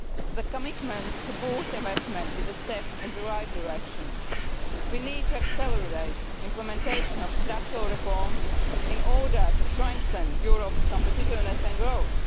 The commitment to boosting investment is a step in the right direction. We need to accelerate the implementation of structural reforms in order to strengthen Europe's competitiveness and growth.